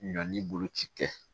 Ɲɔn ni boloci kɛ